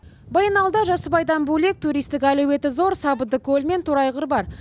баянауылда жасыбайдан бөлек туристік әлеуеті зор сабындыкөл мен торайғыр бар